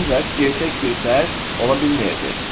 Ancaq gerçək bir fərd ola bilməyəcək.